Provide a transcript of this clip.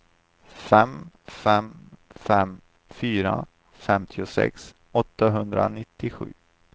fem fem fem fyra femtiosex åttahundranittiosju